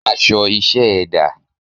Aṣọ iṣẹ́ ẹ dà?